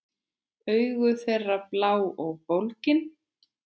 Augu þeirra blá og bólgin.